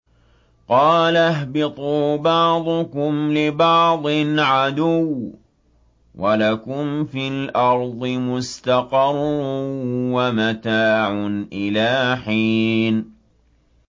قَالَ اهْبِطُوا بَعْضُكُمْ لِبَعْضٍ عَدُوٌّ ۖ وَلَكُمْ فِي الْأَرْضِ مُسْتَقَرٌّ وَمَتَاعٌ إِلَىٰ حِينٍ